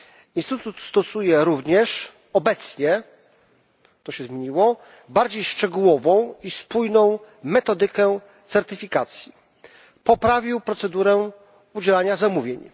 Instytut stosuje również obecnie bardziej szczegółową i spójną metodykę certyfikacji, poprawił procedurę udzielania zamówień.